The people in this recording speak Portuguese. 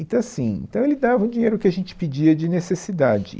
Então, assim, então ele dava o dinheiro que a gente pedia de necessidade.